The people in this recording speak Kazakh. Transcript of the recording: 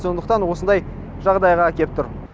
сондықтан осындай жағдайға әкеп тұр